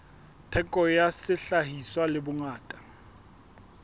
theko ya sehlahiswa le bongata